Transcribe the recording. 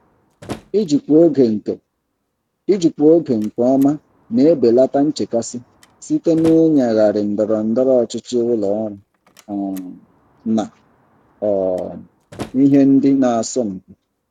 Ijikwa oge nke Ijikwa oge nke ọma na-ebelata nchekasị site na ịnyagharị ndọrọ ndọrọ ọchịchị ụlọ ọrụ um na um ihe ndị na-asọmpi.